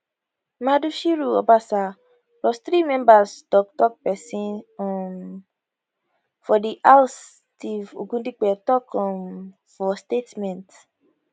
mudashiru obasa plus three members toktok pesin um for di house steve ogundipe tok um for statement